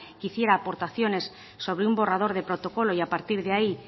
que hiciera aportaciones sobre un borrador de protocolo y a partir de ahí